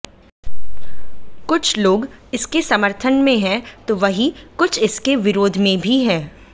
कुछ लोग इसके समर्थन में हैं तो वहीं कुछ इसके विरोध में भी हैं